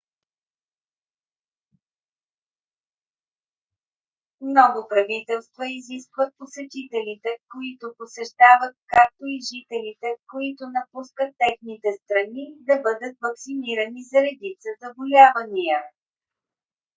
много правителства изискват посетителите които посещават както и жителите които напускат техните страни да бъдат ваксинирани за редица заболявания